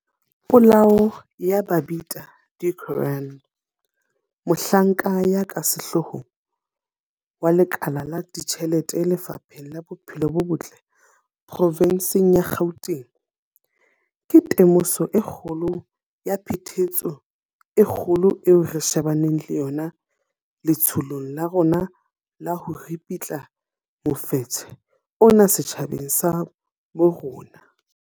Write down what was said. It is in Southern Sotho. Polao ya Babita Deokaran, mohlanka ya ka sehloohong wa lekala la ditjhelete Lefapheng la Bophelo bo Botle provenseng ya Gauteng, ke temoso e kgolo ya phephetso e kgolo eo re shebaneng le yona letsholong la rona la ho ripitla mofetshe ona setjhabeng sa bo rona.